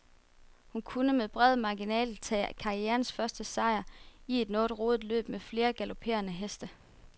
Hun kunne med bred marginal tage karrierens første sejr, i et noget rodet løb med flere galopperende heste.